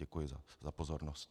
Děkuji za pozornost.